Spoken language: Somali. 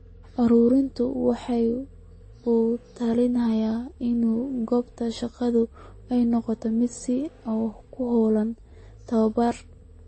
Ururku waxa uu ku talinayaa in goobta shaqadu ay noqoto mid si aad ah ugu hawlan tabobar.